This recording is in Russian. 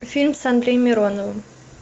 фильм с андреем мироновым